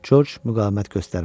George müqavimət göstərmədi.